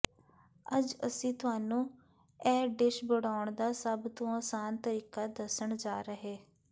ਅੱਜ ਅਸੀਂ ਤੁਹਾਨੂੰ ਇਹ ਡਿਸ਼ ਬਣਾਉਣ ਦਾ ਸਭ ਤੋਂ ਆਸਾਨ ਤਰੀਕਾ ਦੱਸਣ ਜਾ ਰਹੇ